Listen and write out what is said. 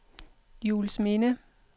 Juelsminde